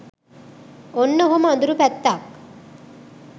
ඔන්න ඔහොම අඳුරු පැත්තක්